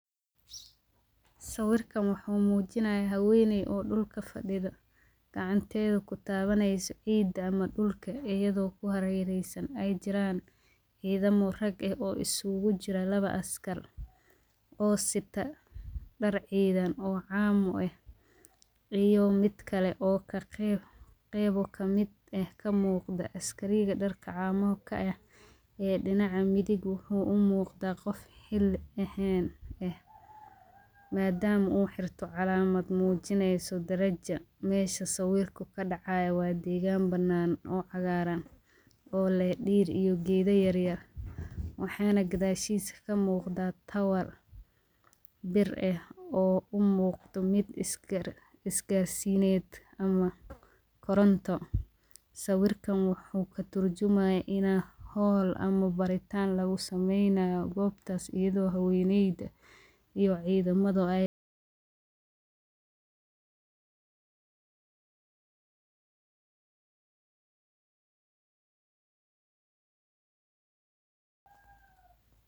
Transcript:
Sawirkan waxuu mujinayaa haweneey oo dhulka fadhida ,gacanteeda ku tawaneysa ciidda ama dhulka ayadoo ku harereysan ay jiraan ciidamo rag eh oo isugu jira lawa askar oo sita dhar ciidan oo caamu eh iyo midkale oo ka qeyb ,qeybo kamid eh ka muuqda askariga dharka camuu ka eh iyo dhinaca midig wuxuu u muqdaa qof xilli ahaan eh madaama uu xirte calaamad mujineysa darajo . Meshu sawirka ka dhacaayo waa degaan banaan oo cagaaran oo leh dhir iyo geedo yaryar, waxaana gadashiisa ka muqdaa tawal bir eh oo u muuqdo mid is-gaarsineed ama koronto . Sawirkan waxuu ka turjumayaa hawla ama baritaan lagu sameynayo gobtaas iyadoo haweneydu iyo cidamadu ay.